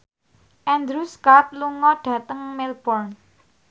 Andrew Scott lunga dhateng Melbourne